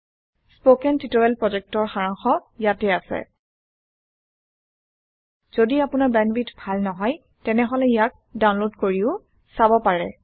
কথন শিক্ষণ প্ৰকল্পৰ সাৰাংশ ইয়াত আছে যদি আপোনাৰ বেণ্ডৱিডথ ভাল নহয় তেনেহলে ইয়াক ডাউনলোড কৰি চাব পাৰে